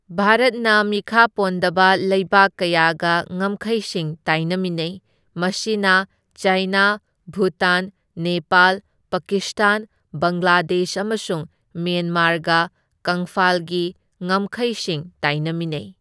ꯚꯥꯔꯠꯅ ꯃꯤꯈꯥ ꯄꯣꯟꯗꯕ ꯂꯩꯕꯥꯛ ꯀꯌꯥꯒ ꯉꯝꯈꯩꯁꯤꯡ ꯇꯥꯏꯅꯃꯤꯟꯅꯩ, ꯃꯁꯤꯅ ꯆꯥꯏꯅꯥ, ꯚꯨꯇꯥꯟ, ꯅꯦꯄꯥꯜ, ꯄꯥꯀꯤꯁꯇꯥꯟ, ꯕꯪꯒ꯭ꯂꯥꯗꯦꯁ ꯑꯃꯁꯨꯡ ꯃ꯭ꯌꯥꯟꯃꯥꯔꯒ ꯀꯪꯐꯥꯜꯒꯤ ꯉꯝꯈꯩꯁꯤꯡ ꯇꯥꯏꯅꯃꯤꯟꯅꯩ꯫